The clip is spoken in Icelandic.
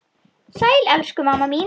Sæl, elsku mamma mín.